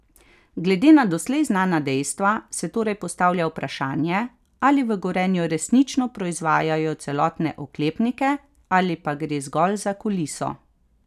Glede na doslej znana dejstva se torej postavlja vprašanje, ali v Gorenju resnično proizvajajo celotne oklepnike ali pa gre zgolj za kuliso.